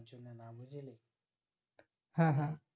হ্যাঁ হ্যাঁ